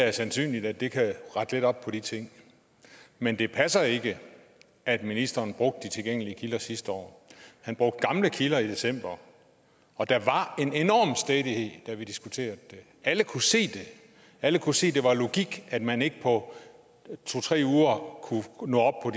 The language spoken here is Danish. er sandsynligt at det kan rette lidt op på de ting men det passer ikke at ministeren brugte de tilgængelige kilder sidste år han brugte gamle kilder i december og der var en enorm stædighed da vi diskuterede det alle kunne se det alle kunne se at det var logik at man ikke på to tre uger kunne nå